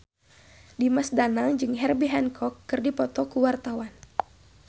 Dimas Danang jeung Herbie Hancock keur dipoto ku wartawan